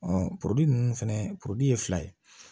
polii ninnu fɛnɛ ye fila ye